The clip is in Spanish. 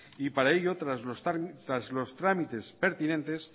y para ello tras los trámites pertinentes